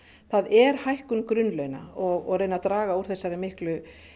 það er hækkun grunnlauna og reyna að draga úr þessari miklu